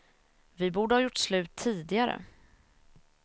Vi borde ha gjort slut tidigare.